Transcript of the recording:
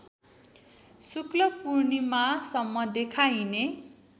शुक्ल पूर्णिमासम्म देखाइने